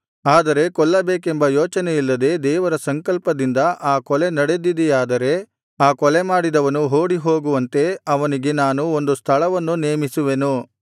ಆದರೆ ಕೊಲ್ಲಬೇಕೆಂಬ ಯೋಚನೆಯಿಲ್ಲದೆ ದೇವರ ಸಂಕಲ್ಪದಿಂದ ಆ ಕೊಲೆ ನಡೆದಿದೆಯಾದರೆ ಆ ಕೊಲೆಮಾಡಿದವನು ಓಡಿಹೋಗುವಂತೆ ಅವನಿಗೆ ನಾನು ಒಂದು ಸ್ಥಳವನ್ನು ನೇಮಿಸುವೆನು